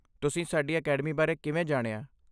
ਤੁਸੀਂ ਸਾਡੀ ਅਕੈਡਮੀ ਬਾਰੇ ਕਿਵੇਂ ਜਾਣਿਆ?